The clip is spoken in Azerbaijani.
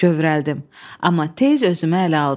Kövrəldim, amma tez özümə ələ aldım.